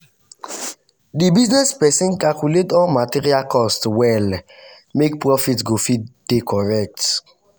the business person calculate all all material cost well make profit go dey correct.